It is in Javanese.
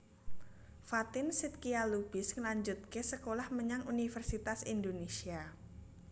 Fatin Shidqia Lubis ngelanjutke sekolah menyang Universitas Indonesia